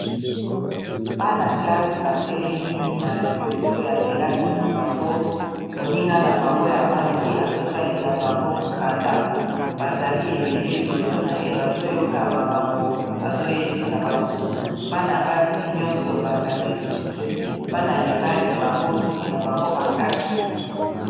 Bana-classe batelemi na liboso ya kelasi na bango moninga na bango ya mwasi azotangela bango mokanda bazali ebele liboso na ye bazoyoka makambo azoyebisa bango bana basi nyonso bakangi suki bana mibali bango suki na bango bakati.